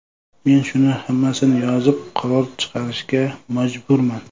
Men shuni hammasini yozib, qaror chiqarishga majburman.